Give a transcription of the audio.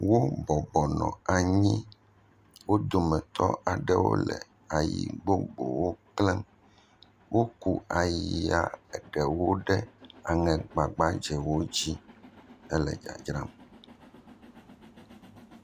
Wobɔbɔ nɔ anyi, wo dometɔ aɖewo le ayi bubuwo klẽm, woku ayia eɖewo ɖe aŋegbagbadzɛwo d zi hele dzadzram.